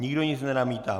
Nikdo nic nenamítá.